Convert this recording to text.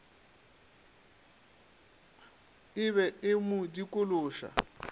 e be e mo dikološa